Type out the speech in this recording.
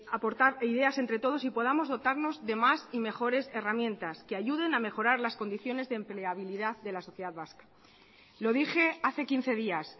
aportar ideas entre todos y podamos dotarnos de más y mejores herramientas que ayuden a mejorar las condiciones de empleabilidad de la sociedad vasca lo dije hace quince días